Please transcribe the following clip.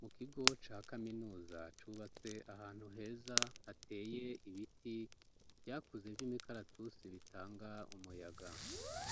Mu kigo ca kaminuza cubatse ahantu heza hateye ibiti vyakuze vy'imikaratusi bitanga umuyaga